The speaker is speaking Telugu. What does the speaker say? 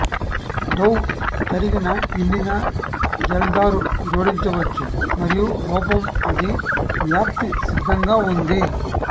డౌ తరిగిన ఎండిన జల్దారు జోడించవచ్చు మరియు రూపం అది వ్యాప్తి సిద్ధంగా ఉంది